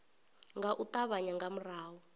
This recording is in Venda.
nga u ṱavhanya nga murahu